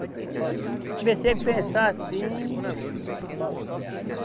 Mas depois comecei a pensar assim.